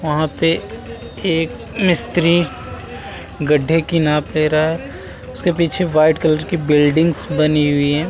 वहा पे एक मिस्त्री गड्ढे की नाप ले रहा है। उसके पीछे वाइट कलर की बिल्डिंग्स बनी हुई हैं।